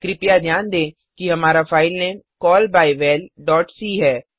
कृपया ध्यान दें हमारा फाइलनाम callbyvalसी है